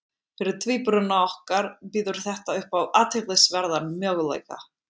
fyrir tvíburana okkar býður þetta upp á athyglisverðan möguleika